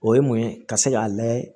O ye mun ye ka se k'a layɛ